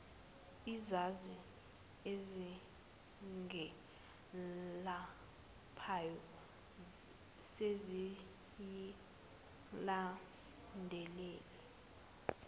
izazi ezingelaphayo seziyilandulile